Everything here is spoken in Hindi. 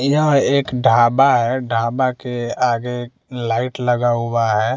एक ढाबा है ढाबा के आगे लाइट लगा हुआ है।